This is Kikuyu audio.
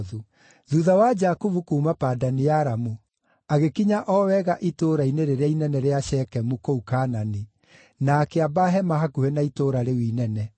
Thuutha wa Jakubu kuuma Padani-Aramu, agĩkinya o wega itũũra-inĩ rĩrĩa inene rĩa Shekemu kũu Kaanani, na akĩamba hema hakuhĩ na itũũra rĩu inene.